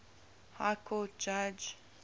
high court judge